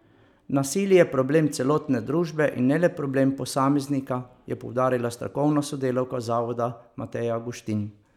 Nasilje je problem celotne družbe in ne le problem posameznika, je poudarila strokovna sodelavka zavoda Mateja Guštin.